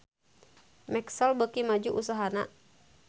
Maxell beuki maju usahana